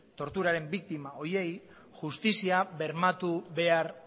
torturaren biktima horiei justizia bermatu behar